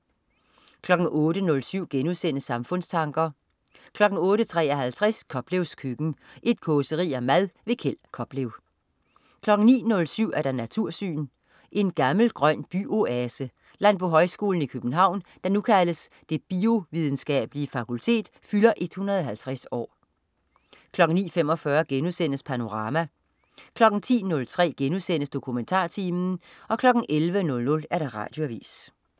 08.07 Samfundstanker* 08.53 Koplevs køkken. Et causeri om mad. Kjeld Koplev 09.07 Natursyn. En gammel grøn by-oase. Landbohøjskolen i København, der nu kaldes Det Biovidenskabelige Fakultet, fylder 150 år 09.45 Panorama* 10.03 DokumentarTimen* 11.00 Radioavis